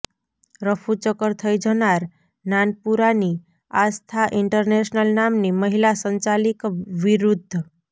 રફુચક્કર થઇ જનાર નાનપુરાની આસ્થા ઇન્ટરનેશનલ નામની મહિલા સંચાલિક વિરૃધ્ધ